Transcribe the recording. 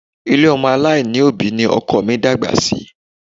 Ilé ọmọ aláìní ni òbí ni ọkọ mi dàgbà sí